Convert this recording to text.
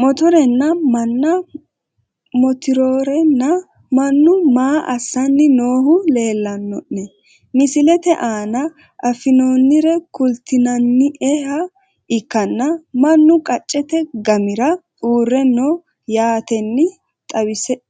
Motorenna manna motrorena mannu maa asani noohu leelanone misilete aana afinooniri kultinanieha ikanna manu qaccete gamira uure no yaateni